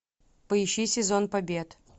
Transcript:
поищи сезон побед